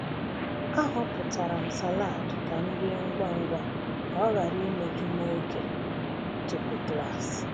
Ahọpụtara m salad ka m rie ngwa ngwa ka ọ ghara imeju m oke tupu klas.